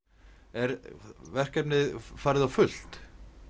er verkefnið farið á fullt